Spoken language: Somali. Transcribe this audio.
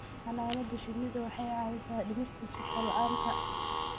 Xannaanada shinnidu waxay caawisaa dhimista shaqo la'aanta.